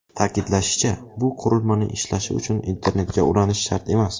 Ta’kidlanishicha, bu qurilmaning ishlashi uchun internetga ulanish shart emas.